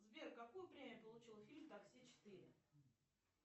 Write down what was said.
сбер какую премию получил фильм такси четыре